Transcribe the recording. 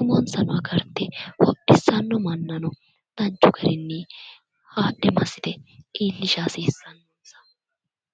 umonsano agarte hodhissanno mannano danchu garinni haadhe massite iillisha haasissannonsa.